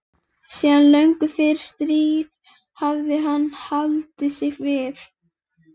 Síðan löngu fyrir stríð hafði hann haldið sig við